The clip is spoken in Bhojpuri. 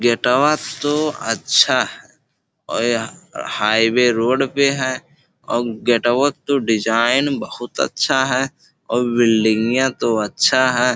गेटवा तो अच्छा है औ यहां हाईवे रोड भी है औ गेटवो तो डिजाइन बहोत अच्छा है अउर बिलडिंगिया तो अच्छा है।